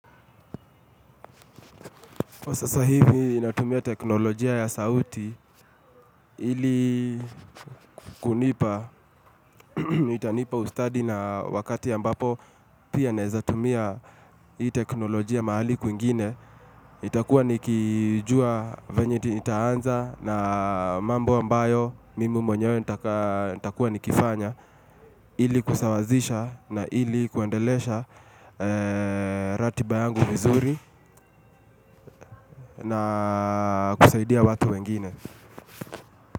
Kwa sasa hivi, natumia teknolojia ya sauti ili kunipa. Itanipa ustadi na wakati ambapo pia naweza tumia hii teknolojia mahali kwingine. nitakuwa nikijua vyenye nitaanza na mambo ambayo, mimi mwenyewe, nitakuwa nikifanya. Ili kusawazisha na ili kuendelesha ratiba yangu vizuri na kusaidia watu wengine.